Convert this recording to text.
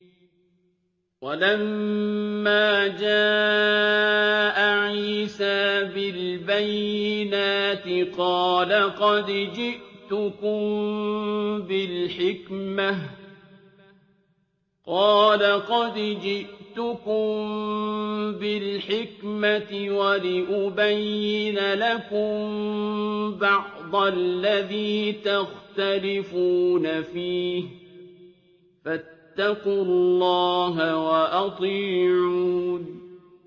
وَلَمَّا جَاءَ عِيسَىٰ بِالْبَيِّنَاتِ قَالَ قَدْ جِئْتُكُم بِالْحِكْمَةِ وَلِأُبَيِّنَ لَكُم بَعْضَ الَّذِي تَخْتَلِفُونَ فِيهِ ۖ فَاتَّقُوا اللَّهَ وَأَطِيعُونِ